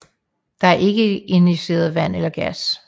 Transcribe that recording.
Der er ikke injiceret vand eller gas